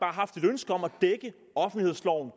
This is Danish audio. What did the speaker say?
haft et ønske om at dække offentlighedsloven